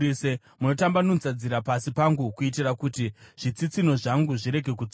Munotambanudza nzira pasi pangu, kuitira kuti zvitsitsinho zvangu zvirege kutsauka.